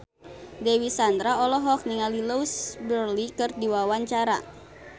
Dewi Sandra olohok ningali Louise Brealey keur diwawancara